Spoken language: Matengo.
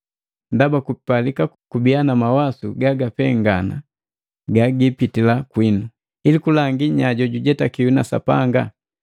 ndaba kupalika kubiya na mawasu gagapengana gapitila kwinu, ili kulangi nya jojujetakiwi na Sapanga.